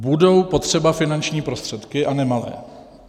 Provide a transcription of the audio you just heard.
Budou potřeba finanční prostředky, a nemalé.